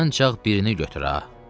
"Ancaq birini götür ha."